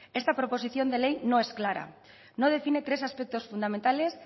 esta proposición de ley no es clara no define tres aspectos fundamentales